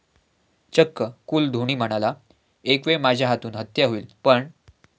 चक्क कूल धोनी म्हणाला, एकवेळ माझ्या हातून हत्या होईल पण....